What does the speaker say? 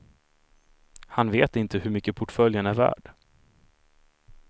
Han vet inte hur mycket portföljen är värd.